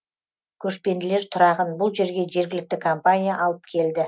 көшпенділер тұрағын бұл жерге жергілікті компания алып келді